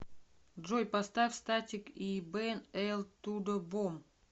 джой поставь статик и бен эль тудо бом